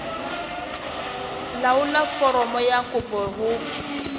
laolla foromo ya kopo ho